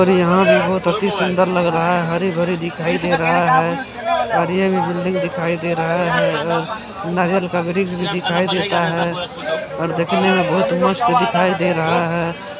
यहां कालीसफेद और लाल मछलियां भी हैं ग्राहक इन मछलियों को खरीद रहे हैं। और घर पे जाके इन मछलियों की सब्जी बनाएंगे।